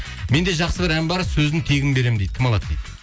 менде жасқы бір ән бар сөзін тегін беремін дейді кім алады дейді